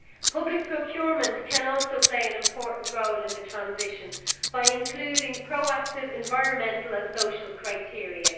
Public procurement can also play an important role in the transition by including proactive environmental and social criteria.